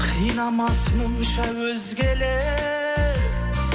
қинамас мұнша өзгелер